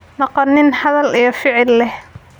Noqo nin hadal iyo ficil leh.